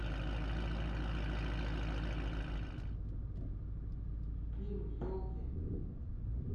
фильм елки